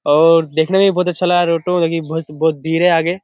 और देखने में भी बहुत अच्छा लगा ऑटो और बहुत भीड़ है आगे।